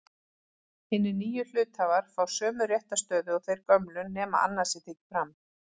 Hinir nýju hluthafar fá sömu réttarstöðu og þeir gömlu nema annað sé tekið fram.